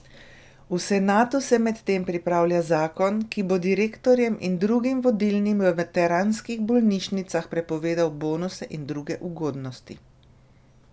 V senatu se medtem pripravlja zakon, ki bo direktorjem in drugim vodilnim v veteranskih bolnišnicah prepovedal bonuse in druge ugodnosti.